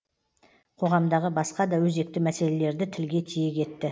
қоғамдағы басқа да өзекті мәселелерді тілге тиек етті